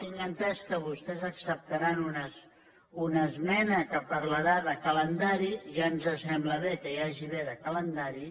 tinc entès que vostès acceptaran una esmena que parlarà de calendari ja ens sembla bé que n’hi hagi de calendari